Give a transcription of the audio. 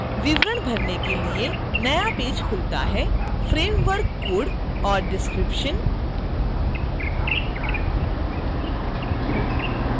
विवरण भरने के लिए एक नया पेज खुलता है